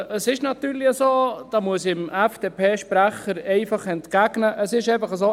Es ist natürlich so – da muss ich dem FDP-Sprecher einfach entgegnen –, es ist natürlich so: